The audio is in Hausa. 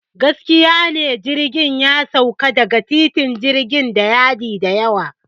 Gaskiya ne, jirgin ya sauka daga titin jirgin da yadi da yawa.